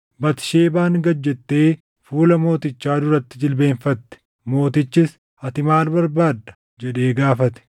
Batisheebaan gad jettee fuula mootichaa duratti jilbeenfatte. Mootichis, “Ati maal barbaadda?” jedhee gaafate.